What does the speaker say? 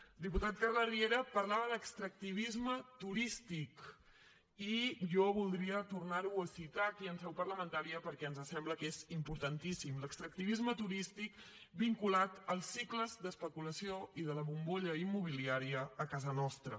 el diputat carles riera parlava d’ extractivisme turístic i jo voldria tornar ho a citar aquí en seu parlamentària perquè ens sembla que és importantíssim l’extractivisme turístic vinculat als cicles d’especulació i de la bombolla immobiliària a casa nostra